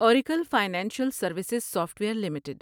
Oracle Financial Services Software limited